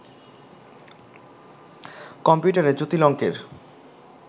কম্পিউটারে জটিল অংকের